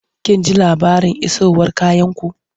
Kun ji labarin isowar kayanku?